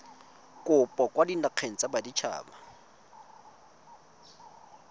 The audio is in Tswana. kopo kwa dinageng tsa baditshaba